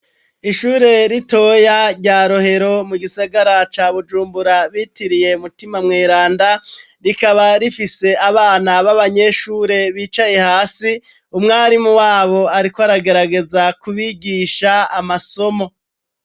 Ishure ritoya rya Rohero mu gisagara ca Bujumbura bitiriye mutima mweranda, rikaba rifise abana b'abanyeshure bicaye hasi, umwarimu wabo ariko aragerageza kubigisha amasomo.